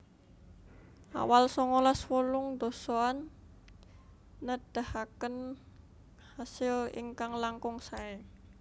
Awal songolas wolung dasaan nedahaken kasil ingkang langkung saé